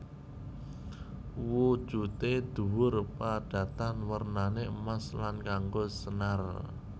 Wujude dhuwur padatan wernané emas lan nganggo senar